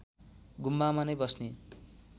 गुम्बामा नै बस्ने